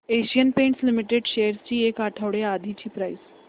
Asian Paints Limited shares ची एक आठवड्या आधीची प्राइस